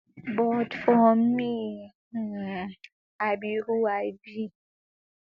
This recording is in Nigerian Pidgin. but for me um i be who i be